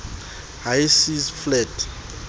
high seas fleet